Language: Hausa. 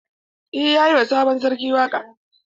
Eh yayi wa sabon sarki waƙa.